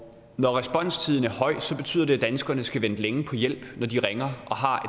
når responstiden er høj betyder det at danskerne skal vente længe på hjælp når de ringer og har